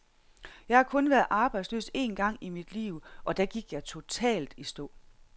Jeg har kun været arbejdsløs en gang i mit liv, og da gik jeg totalt i stå.